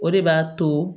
O de b'a to